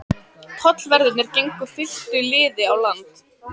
Tollverðirnir gengu fylktu liði á land.